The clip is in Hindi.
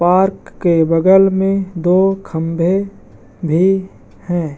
पार्क के बगल मे दो खंबे भी हैं ।